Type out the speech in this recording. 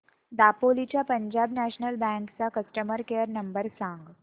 दापोली च्या Punjab National Bank चा customer care number सांग